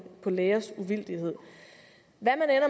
lægers uvildighed